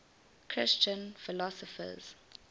christian philosophers